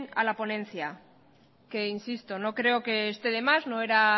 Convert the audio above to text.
a la ponencia que insisto no creo que esté de más no era